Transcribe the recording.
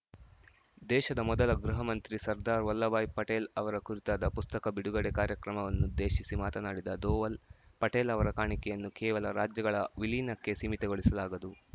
ದೇಶದ ಮೊದಲ ಗೃಹ ಮಂತ್ರಿ ಸರ್ದಾರ್‌ ವಲ್ಲಭಭಾಯ್‌ ಪಟೇಲ್‌ ಅವರ ಕುರಿತಾದ ಪುಸ್ತಕ ಬಿಡುಗಡೆ ಕಾರ್ಯಕ್ರಮವನ್ನುದ್ದೇಶಿಸಿ ಮಾತನಾಡಿದ ಧೋವಲ್‌ ಪಟೇಲ್‌ ಅವರ ಕಾಣಿಕೆಯನ್ನು ಕೇವಲ ರಾಜ್ಯಗಳ ವಿಲೀನಕ್ಕೆ ಸೀಮಿತಗೊಳಿಸಲಾಗದು